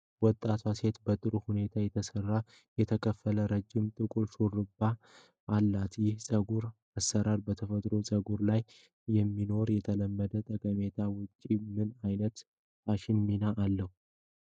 ወጣቷ ሴት በጥሩ ሁኔታ የተሰራና የተከፋፈለ ረዥም ጥቁር ሹሩባ (ቦክስ ብሬድ) አላት። ይህ የፀጉር አሠራር በተፈጥሮ ፀጉር ላይ ከሚኖረው የተለመደ ጠቀሜታ ውጪ ምን ዓይነት የፋሽን ሚና አለው?